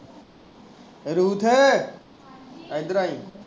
Ruth ਇੱਧਰ ਆਈਂ